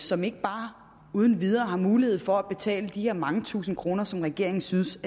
som ikke bare uden videre har mulighed for at betale de her mange tusinde kroner som regeringen synes